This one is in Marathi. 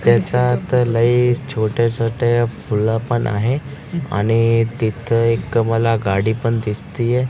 त्याच्यात लई छोटे छोटे फुलं पण आहे आणि तिथं एक मला गाडी पण दिसतिये.